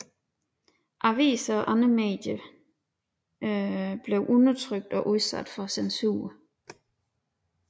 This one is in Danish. Aviser og andre medier blev undertrykt og udsat for censur